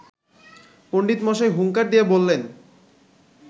পণ্ডিতমশাই হুঙ্কার দিয়ে বললেন